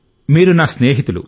మీరు నా స్నేహితులు